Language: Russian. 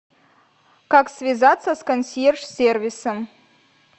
как связаться с консьерж сервисом